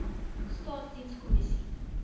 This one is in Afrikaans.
staatsdienskommissie